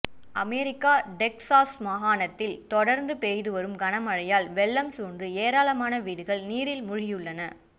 America Texas மாகாணத்தில் தொடர்ந்து பெய்துவரும் கனமழையால் வெள்ளம் சூழ்ந்து ஏராளமான வீடுகள் நீரில் மூழ்கியுள்ளன